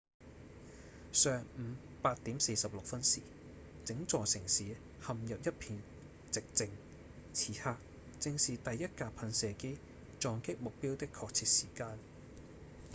上午8點46分時整座城市陷入一片寂靜此刻正是第一架噴射機撞擊目標的確切時間